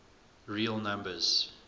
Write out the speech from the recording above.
real numbers